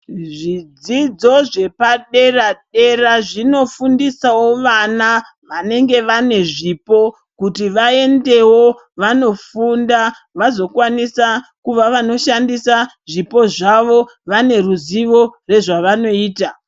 Zvidzidzo zvepa dera dera zvino fundisawo vana vanenge vane zvipo kuti vaendewo vano funda vazo kwanisa kuva vanoshandisa zvipo zvavo vane ruzivo re zvavanoita.